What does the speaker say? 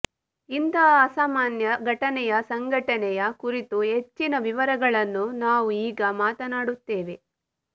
ಇಂತಹ ಅಸಾಮಾನ್ಯ ಘಟನೆಯ ಸಂಘಟನೆಯ ಕುರಿತು ಹೆಚ್ಚಿನ ವಿವರಗಳನ್ನು ನಾವು ಈಗ ಮಾತನಾಡುತ್ತೇವೆ